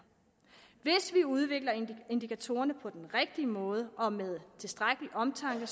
udvikler indikatorerne på den rigtige måde og med tilstrækkelig omtanke